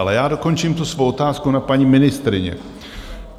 Ale já dokončím tu svou otázku na paní ministryni.